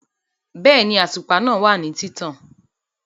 Bẹ́ẹ̀ni, àtùpà náà wà ní títàn